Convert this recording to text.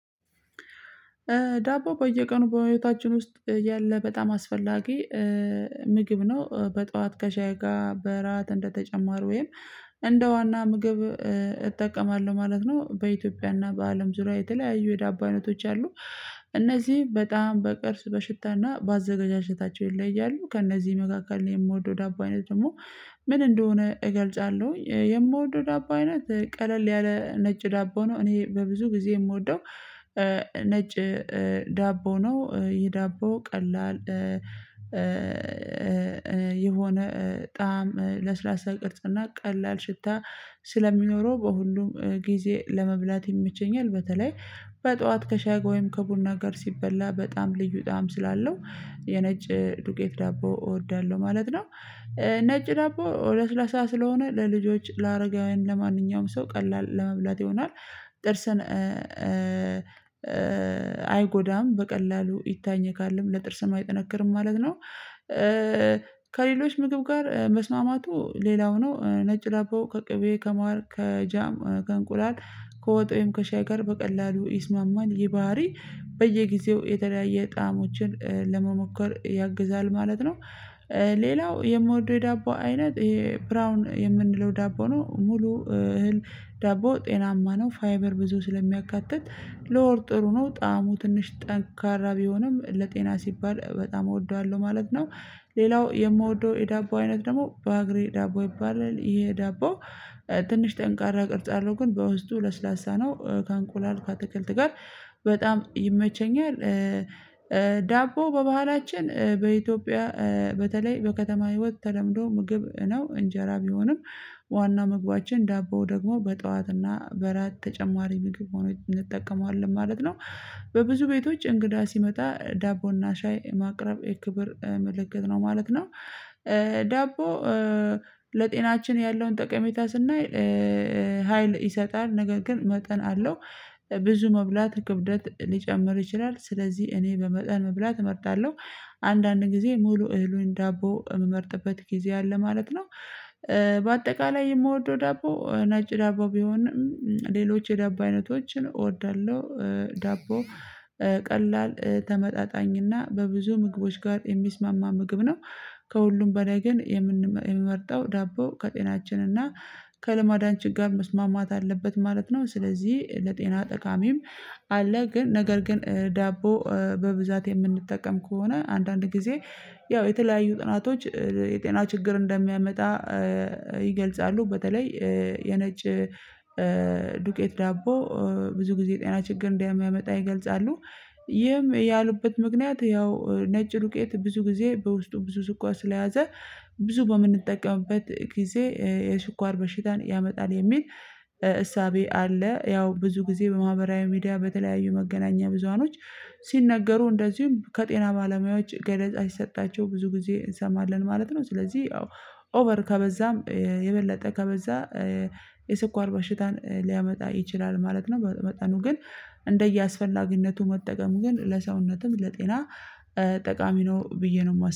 ዳቦ በየቀኑ በህይወታችን ውስጥ ያለ በጣም አስፈላጊ ምግብ ነው በጧት ከሻይ ጋር በእራት እንደተጨማሩ ወይም እንደ ዋና ምግብ እጠቀማለሁ ማለት ነው። በኢትዮጵያና በአለም ዙሪያ የተለያዩ የዳቦነቶች አሉ። እነዚህ በጣም በቅርጽ በሽታና ባአዘገጃጀታቸው ይለያያሉ። ከእነዚህ መካከል የምወደው ዳቦ አይነት ደግሞ ምን እንደሆነ እገልጻለሁ። የምወደው ዳቦ አይነት ቀለል ያለ ነጭ ዳቦ ነው። እኔ በብዙ ጊዜ የምወደው ነጭ ዳቦ ነው። ይህ ዳቦ ቀላል የሆነ ጣዕም ለስላሳ ቅርጽና ቀላል ሽታ ስለሚኖረው በሁሉም ጊዜ ለመብላት ይመቸኛል። በተለይ በጧት ከሻይ ጋር ወይም ከቡና ጋር ሲበላ በጣም ልዩ ጣም ስላለው የነጭ ዱቄት ዳቦ እወዳለሁ ማለት ነው። ነጭ ዳቦ ለስላሳ ስለሆነ ለልጆች ለአረጋውያን ለማንኛውም ሰው ቀላል ለመብላት ይሆናል። ጥርሰን አይጎዳም በቀላሉ ይታኘካልም ለጥርስም አይጠነክርም ማለት ነው። ከሌሎች ምግብ ጋር መስማማቱ ሌላው ነው። ነጭ ላቦ ከቅቤ ከማር ከጃም ከእንቁላል ከወጥ ወይም ከሻይ ጋር በቀላሉ ይስማማኝ። ይሄ ባህሪ በየጊዜው የተለያየ ጣሞችን ለመሞከር ያግዛል ማለት ነው። ሌላው የምወደው የዳቦ አይነት ይሄ ብራውን የምንለው ዳቦ ነው ሙሉ እህል ዳቦ ጤናማ ነው። ፋይበር ብዙ ስለሚያካትት ለሆድ ጥሩ ነው ጣዕሙ ትንሽ ጠንካራ ቢሆንም ለጤና ሲባል በጣም እወደዋለሁ ማለት ነው። ሌላው የምወደው የዳቦ አይነት ደግሞ በአግሬ ዳቦ ይባላል። ይሄ ዳቦ ትንሽ ጠንካራ ቅርጽ አለው ግን በውስጡ ለስላሳ ነው። ከእንቁላል ከአተክልት ጋር በጣም ይመቸኛል። ዳቦ በባህላችን በኢትዮጵያ በተለይ በከተማ ህይወት ተለምዶ ምግብ ነው። እንጀራ ቢሆንም ዋና ምግባችን ዳቦው ደግሞ በጧትና በራት ተጨማሪ ምግብ ሆኖ እንጠቀመዋለን ማለት ነው። በብዙ ቤቶች እንግዳ ሲመጣ ዳቦና ሻይ ማቅረብ የክብር ምልክት ነው ማለት ነው። ዳቦ ለጤናችን ያለውን ጠቀሜታ ስናይ ሀይል ይሰጣል ነገር ግን መጠን አለው። ብዙ መብላት ክብደት ሊጨምር ይችላል ስለዚህ እኔ በመጠን መብላት እመርጣለሁ። አንዳንድ ጊዜ ሙሉ እህሉን ዳቦ የምመርጥበት ጊዜ አለ ማለት ነው። በአጠቃላይ የምወደው ዳቦ ናጭ ዳቦ ቢሆንም ሌሎች የዳቦ አይነቶችን እወዳለሁ። ዳቦ ቀላል ተመጣጣኝና በብዙ ምግቦች ጋር የሚስማማ ምግብ ነው። ከሁሉም በላይ ግን የምንመርጠው ዳቦ ከጤናችን እና ከልማዳችን ጋር መስማማት አለበት ማለት ነው። ስለዚህ ለጤና ጠቃሚም አለ ግን ነገር ግን ዳቦ በብዛት የምንጠቀም ከሆነ አንዳንድ ጊዜ ያው የተለያዩ ጥናቶች የጤና ችግር እንደሚያመጣ ይገልጻሉ። በተለይ የነጭ ዱቄት ዳቦ ብዙ ጊዜ ጤና ችግር እንደሚያመጣ ይገልጻሉ። ይህም ያሉበት ምክንያት ያው ነጭ ሉቄት ብዙ ጊዜ በውስጡ ብዙ ስኳር ስለያዘ ብዙ በምንጠቀምበት ጊዜ የስኳር በሽታን ያመጣል የሚል እሳቤ አለ። ያው ብዙ ጊዜ በማህበራዊ ሚዲያ በተለያዩ መገናኛ ብዙሃኖች ሲነገሩ እንደዚሁም ከጤና ባለሙያዎች ገረጻ ይሰጣቸው ብዙ ጊዜ እንሰማለን ማለት ነው። ስለዚህ አዎ ኦቨር ከበዛም የበለጠ ከበዛ የስኳር በሽታን ሊያመጣ ይችላል ማለት ነው። መጠኑ ግን እንደየአስፈላጊነቱ መጠቀም ግን ለሰውነትም ለጤና ጠቃሚ ነው ብዬ ነው የማስበው